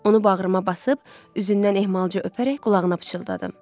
Onu bağrıma basıb üzündən ehmalca öpərək qulağına pıçıldadım.